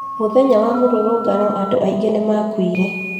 Mũthenya mũrũrũngano andũ aingĩ nĩmakuire